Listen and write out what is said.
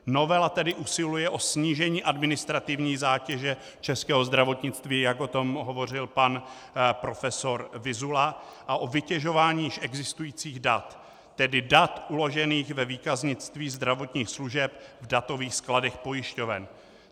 Novela tedy usiluje o snížení administrativní zátěže českého zdravotnictví, jak o tom hovořil pan profesor Vyzula, a o vytěžování již existujících dat, tedy dat uložených ve výkaznictví zdravotních služeb v datových skladech pojišťoven.